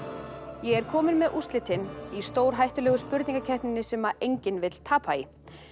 ég er komin með úrslitin í stórhættulegu spurningakeppninni sem enginn vill tapa í